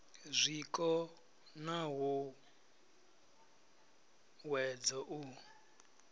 zwiko na hu huwedzo u